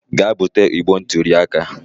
Gaa bute igbe ntụli aka